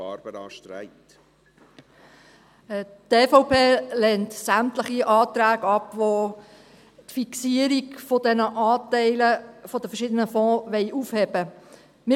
Die EVP lehnt sämtliche Anträge ab, welche die Fixierung dieser Anteile der verschiedenen Fonds aufheben wollen.